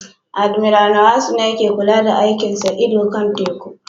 Admiral Nwosu ne yake kula da aikin sa ido kan teku